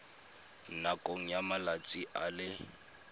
nakong ya malatsi a le